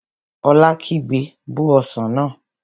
Ola kígbe, Bó ọsàn náà!